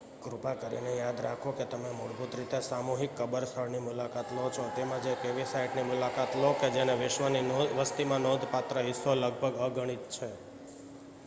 કૃપા કરીને યાદ રાખો કે તમે મૂળભૂત રીતે સામૂહિક કબર સ્થળની મુલાકાત લો છો તેમજ એક એવી સાઇટની મુલાકાત લો કે જેનો વિશ્વની વસ્તીમાં નોંધપાત્ર હિસ્સો લગભગ અગણિત છે